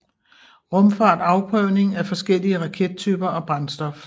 Rumfart Afprøvning af forskellige rakettyper og brændstof